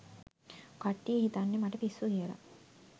කට්ටිය හිතන්නේ මට පිස්සු කියලා